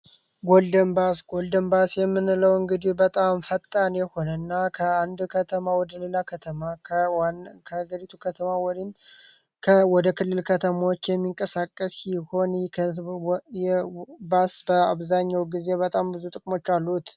ጎልደን ባስ ጎልድን ባስ የምንለውን እንግዲ በጣም ፈጣን የሆነእና ከአንድ ከተማ ወደ ሌላ ከተማ ከዝሪቱ ከተማ ወይም ወደ ክልል ከተማዎች የሚንቀሳቀስ ሲሆን ባስ በአብዛኘው ጊዜ በጣም ብዙ ጥቅሞች አሉት።